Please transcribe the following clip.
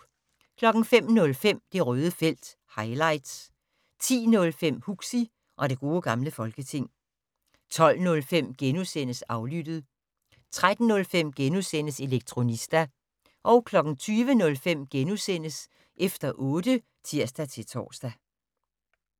05:05: Det Røde felt - highlights 10:05: Huxi og det gode gamle folketing 12:05: Aflyttet * 13:05: Elektronista * 20:05: Efter otte *(tir-tor)